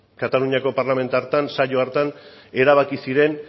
kataluniako parlamentu hartan saio hartan erabaki ziren